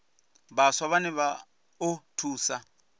vhaswa vhane vha o thusa